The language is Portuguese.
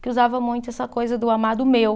Que usava muito essa coisa do amado meu.